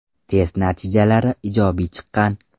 Test natijalari ijobiy chiqqan.